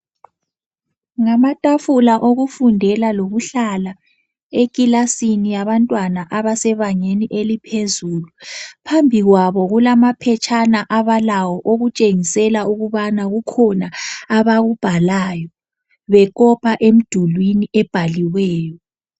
Ngamatafula okufundela lokuhlala ekilasini yabantwana abasebangeni eliphezulu. Phambi kwabo kulamaphetshana abalawo okutshengisela ukubana kukhona abakubhalayo bekopa emdulwini ebhaliweyo.